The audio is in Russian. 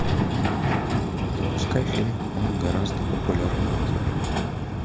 запускай фильм он гораздо популярнее тебя